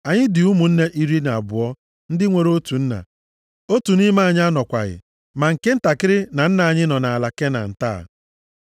Anyị dị ụmụnne iri na abụọ ndị nwere otu nna. Otu nʼime anyị anọkwaghị, ma nke ntakịrị na nna anyị nọ na nʼala Kenan taa.’